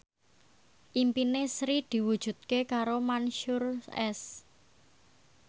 impine Sri diwujudke karo Mansyur S